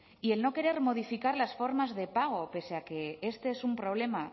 y el no querer modificar las formas de pago pese a que este es un problema